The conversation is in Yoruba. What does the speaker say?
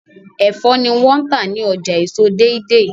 Ẹfọ ni wón tá ní ọjà èso Deidei